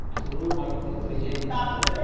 Full ಮಾಡ್ಕೋಂಡಿರ್ತೇವ್ರೀ ಏನ್ .